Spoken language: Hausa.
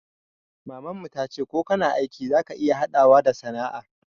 Maman mu ta ce ko kana aiki za ka iya haɗawa da sana'a